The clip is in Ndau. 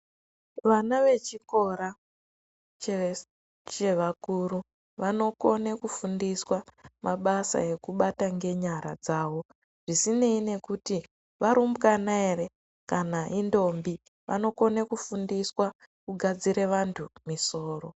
Vana vechikora chevakuru vanokona kufundiswa mabasa ekubata nenyara dzawo zvisinei nekuti varumbwana ere kana kuti vanokona kufundiswa kugadzira vantu misoro.